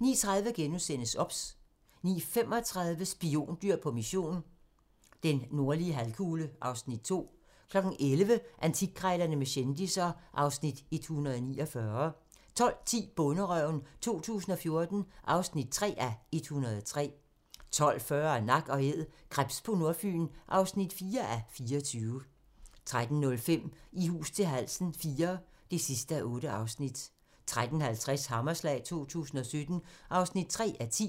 09:20: Morgentræning: David Owe og Gudrun - træn med dit barn, hjemmeskole 09:30: OBS * 09:35: Spiondyr på mission - den nordlige halvkugle (Afs. 2) 11:00: Antikkrejlerne med kendisser (Afs. 149) 12:10: Bonderøven 2014 (3:103) 12:40: Nak & Æd - krebs på Nordfyn (4:24) 13:05: I hus til halsen IV (8:8) 13:50: Hammerslag 2017 (3:10)